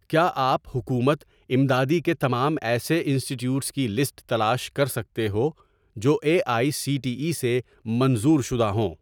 کیا آپ حکومت امدادی کے تمام ایسے انسٹیٹیوٹس کی لسٹ تلاش کر سکتے ہو جو A I C T E سے منظور شدہ ہوں؟